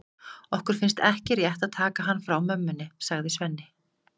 Okkur finnst ekki rétt að taka hann frá mömmunni, sagði Svenni.